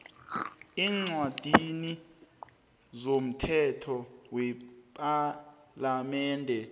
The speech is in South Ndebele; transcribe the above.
eencwadini zomthetho wepalamende